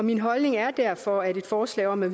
min holdning er derfor at et forslag om at